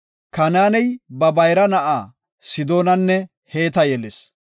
Kanaaney ba bayra na7a Sidoonanne Heeta yelis.